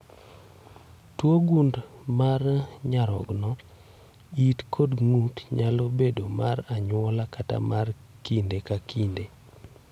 Tuwo gund mar nyarogno, it kod ng'ut nyalo bedo mar anyuola kata mar kinde ka kinde.